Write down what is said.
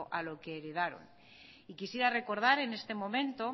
a lo que heredaron y quisiera recordad en este momento